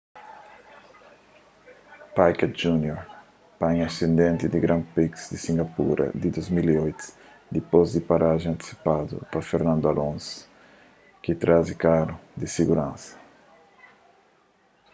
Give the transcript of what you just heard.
piquet jr panha asidenti na grand prix di singapura di 2008 dipôs di un parajen antisipadu pa fernando alonso ki traze karu di siguransa